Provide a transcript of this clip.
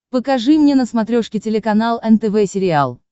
покажи мне на смотрешке телеканал нтв сериал